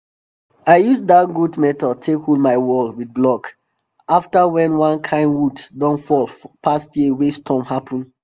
i use dat goat method take hold my wall with blok afta wen one kain wood don fall past year wey storm happen